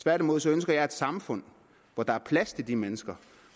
tværtimod ønsker jeg et samfund hvor der er plads til de mennesker